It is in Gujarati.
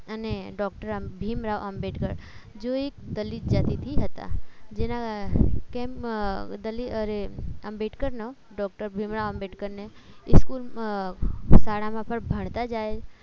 અને ડોક્ટર ભીમ રાવ આંબેડકર જેવો એક દલિત જાતીતી હતા જેન કેમ દલિત અરે આંબેડકર નો ડોક્ટર ભીમ રાવ આંબેડકરને સ્કૂલ શાળામાં પણ ભણતા જાય